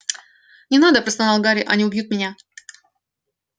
не надо простонал гарри они убьют меня